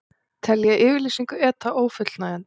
Telja yfirlýsingu ETA ófullnægjandi